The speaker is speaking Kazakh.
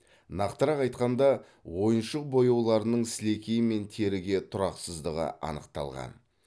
нақтырақ айтқанда ойыншық бояуларының сілекей мен теріге тұрақсыздығы анықталған